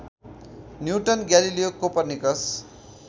newton Galileo Copernicus